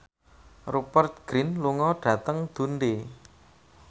Rupert Grin lunga dhateng Dundee